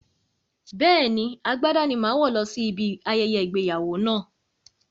Bẹ́ẹ̀ni, agbádá ni màá wọ̀ lọ sí ibi ayẹyẹ ìgbéyàwó náà